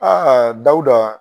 DAWUDA .